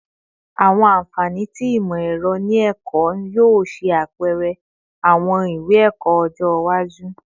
Awọn anfani ti imọ-ẹrọ ni ẹkọ yoo ṣe apẹrẹ awọn iwe-ẹkọ ọjọ iwaju